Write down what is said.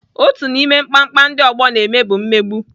Otu n'ime mkpamkpa ndị ọgbọ na-eme bụ mmegbu.